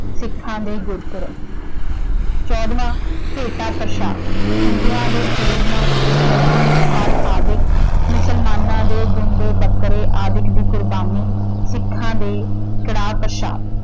ਸਿਖਾਂ ਦੇ ਗੁਰਪੁਰਬ। ਚੌਦਵਾਂ, ਭੇਟਾ ਪ੍ਰਸ਼ਾਦ ਹਿੰਦੂਆਂ ਜੇ ਚੂਰਮਾ, ਲੱਡੂ, ਫਲ ਆਦਿਕ ਮੁਸਲਮਾਨਾਂ ਦੇ , ਬੱਕਰੇ ਆਦਿਕ ਦੀ ਕੁਰਬਾਨੀ ਸਿੱਖਾਂ ਦੇ ਕੜਾਹ-ਪ੍ਰਸ਼ਾਦਿ।